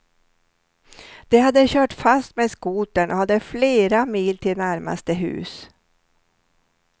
De hade kört fast med skotern och hade flera mil till närmaste hus.